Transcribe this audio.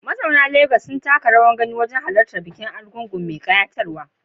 Mazauna Legas sun taka rawar gani wajen halartar bukin egúngún mai kayatarwa